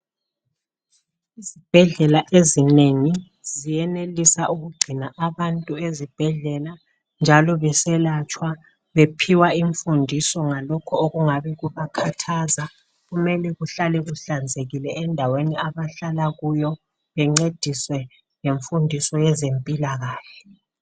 Izibhedlela ezinengi ziyenelisa ukugcina abantu ezibhedlela njalo beselatshwa bephiwa imfundiso ngalokho okungabe kubakhathaza kumele kuhlale kuhlanzekile endaweni abahlala kuwo bencediswe ngemfundiso yezempilakahle.